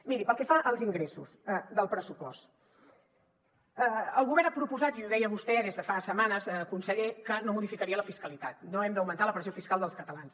miri pel que fa als ingressos del pressupost el govern ha proposat i ho deia vostè des de fa setmanes conseller que no modificaria la fiscalitat no hem d’augmentar la pressió fiscal dels catalans